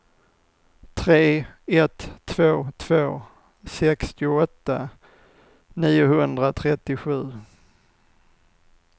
tre ett två två sextioåtta niohundratrettiosju